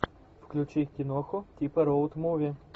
включи киноху типа роуд муви